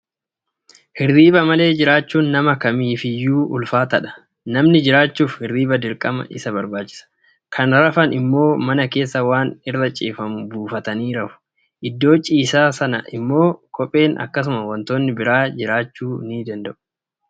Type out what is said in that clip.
Hirriba malee jiraachuun nama kamitti iyyuu ulfaataadha. Namni jiraachuuf hirriibni dirqama isa barbaachisa. Kan rafan immoo mana keessa waan irra ciifamu buufatanii rafu. Iddoo ciisaa sana immoo kopheen akkasumas wantoonni biraa jiraachuu danda'u.